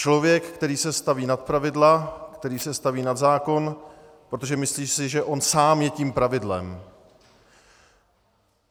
Člověk, který se staví nad pravidla, který se staví nad zákon, protože si myslí, že on sám je tím pravidlem.